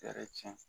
Yɛrɛ tiɲɛ